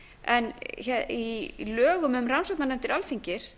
en í lögum um rannsóknarnefndir alþingis